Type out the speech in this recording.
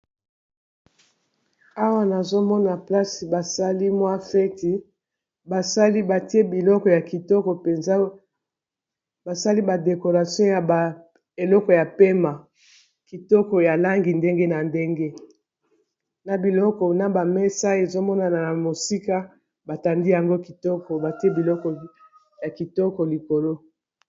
Awa nazomona place basali mwa feti basali batie biloko ya kitoko mpenza basali ba decoration ya eleko ya pema kitoko ya langi ndenge na ndenge na biloko na ba mesa ezomonana na mosika batandi yango kitoko batie biloko ya kitoko likolo